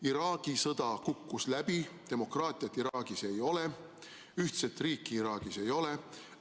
Iraagi sõda kukkus läbi, demokraatiat Iraagis ei ole, ühtset riiki Iraagis ei ole.